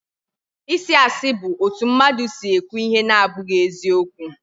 Isị asị bu otu mmadụ si ekwu ihe na-abụghị eziokwu